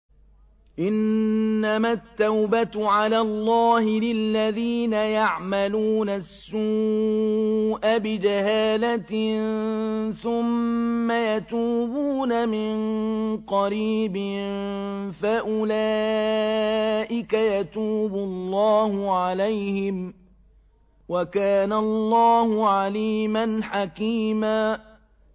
إِنَّمَا التَّوْبَةُ عَلَى اللَّهِ لِلَّذِينَ يَعْمَلُونَ السُّوءَ بِجَهَالَةٍ ثُمَّ يَتُوبُونَ مِن قَرِيبٍ فَأُولَٰئِكَ يَتُوبُ اللَّهُ عَلَيْهِمْ ۗ وَكَانَ اللَّهُ عَلِيمًا حَكِيمًا